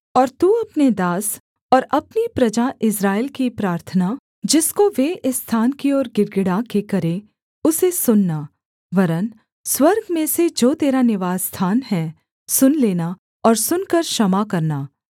और तू अपने दास और अपनी प्रजा इस्राएल की प्रार्थना जिसको वे इस स्थान की ओर गिड़गिड़ा के करें उसे सुनना वरन् स्वर्ग में से जो तेरा निवासस्थान है सुन लेना और सुनकर क्षमा करना